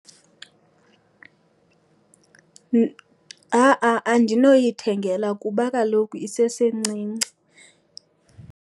Ha-a andinoyithengela kuba kaloku isesencinci.